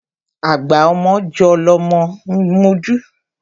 Agba ọmọ jọ́ lọmọ ń mojú.